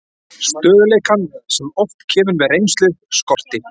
Stöðugleikann, sem oft kemur með reynslu, skorti.